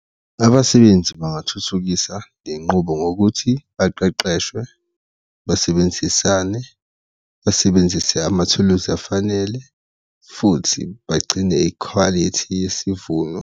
Abasebenzi bangathuthukisa le nqubo ngokuthi baqeqeshwe, basebenzisane, basebenzise amathuluzi afanele futhi bagcine ikhwalithi yesivuno.